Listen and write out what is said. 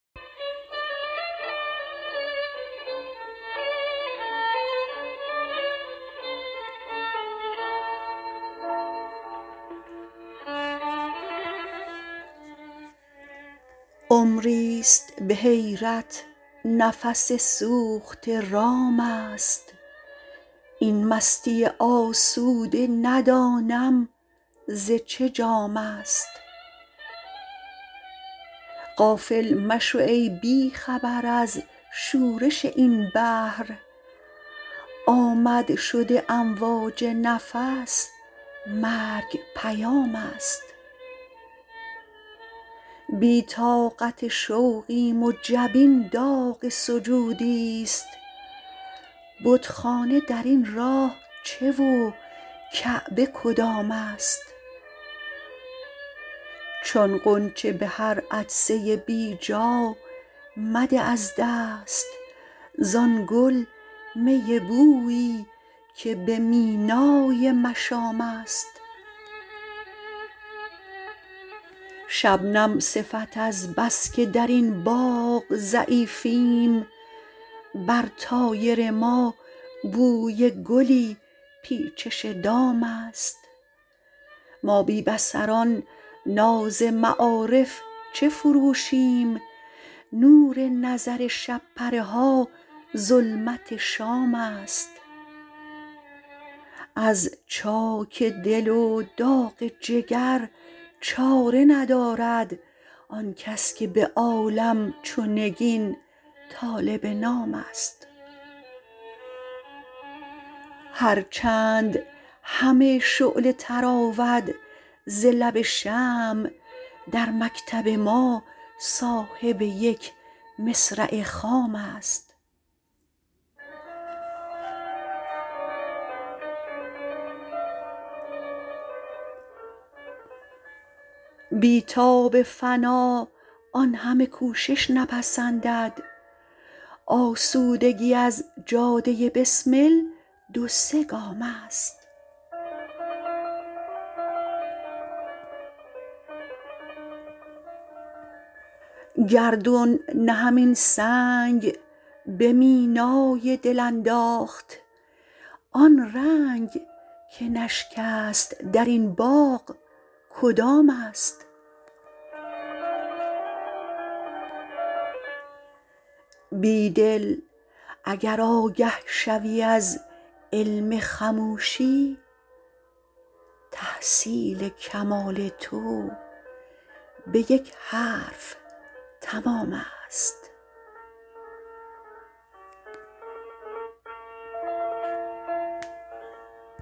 عمری ست به حیرت نفس سوخته رام است این مستی آسوده ندانم ز چه جام است غافل مشو ای بی خبر از شورش این بحر آمد-شد امواج نفس مرگ پیام است بی طاقت شوقیم و جبین داغ سجودی ست بتخانه در این راه چه و کعبه کدام است چون غنچه به هر عطسه بیجا مده از دست زان گل می بویی که به مینای مشام است شبنم صفت از بس که درین باغ ضعیفیم بر طایر ما بوی گلی پیچش دام است ما بی بصران ناز معارف چه فروشیم نور نظر شب پره ها ظلمت شام است از چاک دل و داغ جگر چاره ندارد آن کس که به عالم چو نگین طالب نام است هرچند همه شعله تراود ز لب شمع در مکتب ما صاحب یک مصرع خام است بی تاب فنا آن همه کوشش نپسندد آسودگی از جاده بسمل دو سه گام است گردون نه همین سنگ به مینای دل انداخت آن رنگ که نشکست در این باغ کدام است بیدل اگر آگه شوی از علم خموشی تحصیل کمال تو به یک حرف تمام است